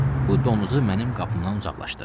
Bu donuzu mənim qapımdan uzaqlaşdır.